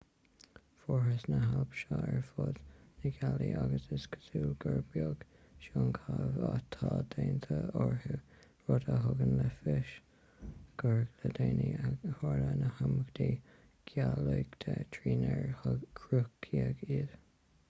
fuarthas na hailp seo ar fud na gealaí agus is cosúil gur beag síonchaitheamh atá déanta orthu rud a thugann le fios gur le déanaí a tharla na himeachtaí geolaíochta trínar cruthaíodh iad